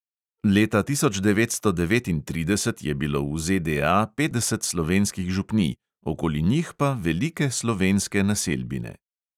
Leta tisoč devetsto devetintrideset je bilo v ZDA petdeset slovenskih župnij, okoli njih pa velike slovenske naselbine.